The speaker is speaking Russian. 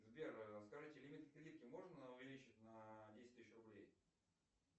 сбер скажите лимит кредитки можно увеличить на десять тысяч рублей